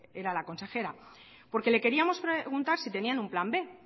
era la consejera porque le queríamos preguntar si tenían un plan b